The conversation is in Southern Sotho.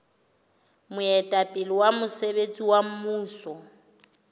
moetapele wa mosebetsi wa mmuso